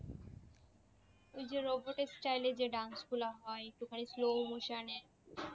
ওই যে robot এর style এ যে dance গুলা হয় কোথাই slow motion এ